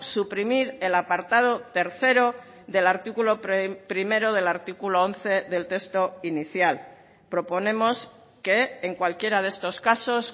suprimir el apartado tercero del artículo primero del artículo once del texto inicial proponemos que en cualquiera de estos casos